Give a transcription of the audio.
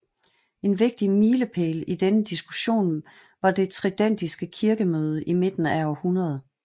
En vigtig milepæl i denne diskussion var det tridentinske kirkemøde i midten af århundredet